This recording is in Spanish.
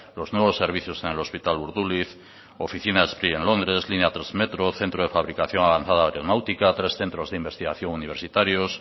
los nuevos servicios en el hospital urduliz oficinas en londres línea tres metro centro de fabricación avanzada aeronáutica tres centros de investigación universitarios